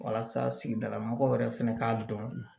Walasa sigidala mɔgɔw yɛrɛ fɛnɛ k'a dɔn